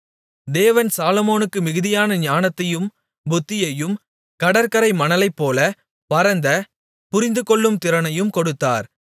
தேவன் சாலொமோனுக்கு மிகுதியான ஞானத்தையும் புத்தியையும் கடற்கரை மணலைப்போல பரந்த புரிந்துகொள்ளும் திறனையும் கொடுத்தார்